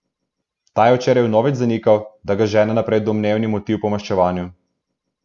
Ta je včeraj vnovič zanikal, da ga žene naprej domnevni motiv po maščevanju.